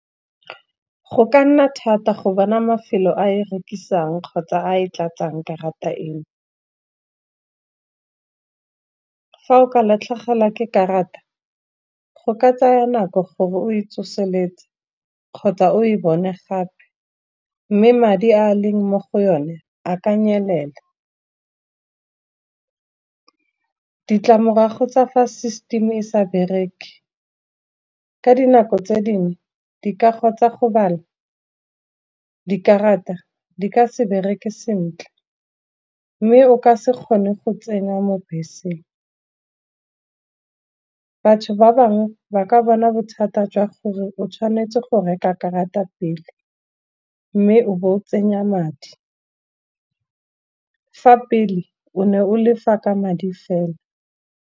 Go ka nna thata go bona mafelo a e rekisang kgotsa a e tlatsang karata eno. Fa o ka latlhegelwa ke karata go ka tsaya nako gore o e tsoseletse, kgotsa o e bone gape, mme madi a leng mo go yone a ka nyelela. Ditlamorago tsa fa system e sa bereke, ka dinako tse dingwe di kago tsa go bala dikarata, di ka se bereke sentle mme o ka se kgone go tsena mo beseng. Batho ba bangwe ba ka bona bothata jwa gore o tshwanetse go reka karata pele, mme o bo o tsenya madi, fa pele o ne o lefa ka madi fela.